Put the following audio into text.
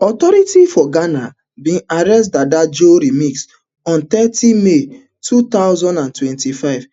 authorities for ghana bin arrest dada joe remix on thirty may two thousand and twenty-five